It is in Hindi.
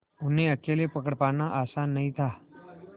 उन्हें अकेले पकड़ पाना आसान नहीं था